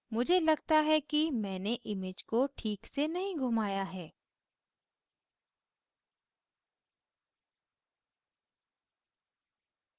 मुझे लगता है कि मैंने image को ठीक से नहीं घुमाया है